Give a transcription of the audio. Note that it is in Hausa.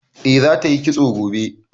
Eh za ta yi kitso gobe